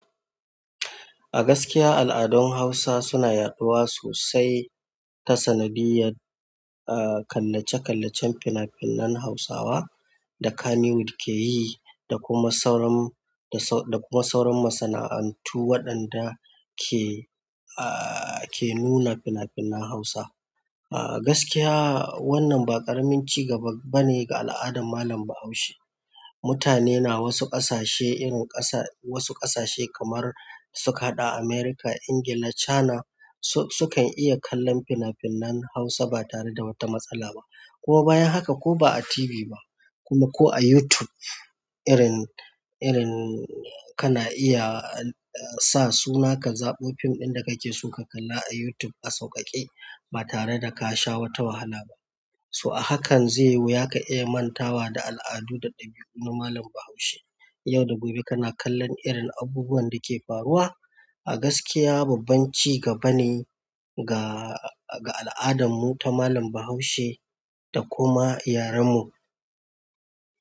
A gaskiya, al'adun Hausa suna yaɗuwa sosai ta sanadiyar, ah, kallace-kallacen fina-finan Hausawa da Kannywood ke yi da kuma sauran, da kuma sauran masana'antu waɗanda ke, ah, ke nuna fina-finan Hausa. A gaskiya wannan ba ƙaramin ci gaba ba ne ga al'adar malam Bahaushe. Mutane na wasu ƙasashe irin ƙasa, wasu ƙasashe kamar suka haɗa Amurika, Ingila, China su, su kan iya kallon fina-finan Hausa ba tare da wata matsala ba. Kuma bayan haka ko ba a TV ba kuma ko a YouTube irin, irin kana iya sa suna ka zaɓo fim ɗin da kake so ka kalla a YouTube a sauƙaƙe ba tare da ka sha wata wahala ba. To a hakan zai wuya ka iya manta wa da al'adu da ɗabi'u na malam Bahaushe. Yau da gobe kana kallon irin abubuwan da ke faruwa. A gaskiya babban ci gaba ne ga, ga al'adanmu ta malam Bahaushe da kuma iyarenmu.